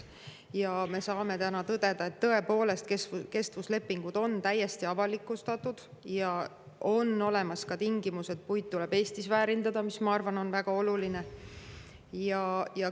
Me saame tõdeda, et kestvuslepingud on tõepoolest täiesti avalikustatud, ja on olemas ka tingimus, et puit tuleb väärindada Eestis, mis, ma arvan, on väga oluline.